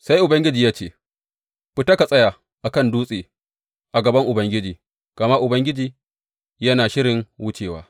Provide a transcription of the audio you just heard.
Sai Ubangiji ya ce, Fita ka tsaya a kan dutse a gaban Ubangiji, gama Ubangiji yana shirin wucewa.